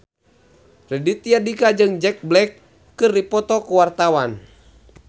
Raditya Dika jeung Jack Black keur dipoto ku wartawan